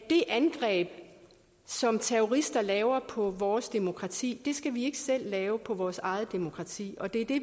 det angreb som terrorister laver på vores demokrati skal vi ikke selv lave på vores eget demokrati og det er det